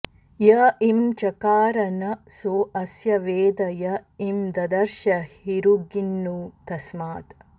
य ईं चकार न सो अस्य वेद य ईं ददर्श हिरुगिन्नु तस्मात्